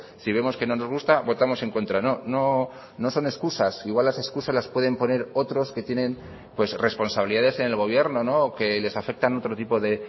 si vemos que no nos gusta votamos en contra no no son excusas igual las excusas las pueden poner otros que tienen pues responsabilidades en el gobierno o que les afectan otro tipo de